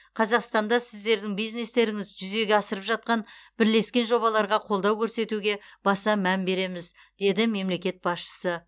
қазақстанда сіздердің бизнестеріңіз жүзеге асырып жатқан бірлескен жобаларға қолдау көрсетуге баса мән береміз деді мемлекет басшысы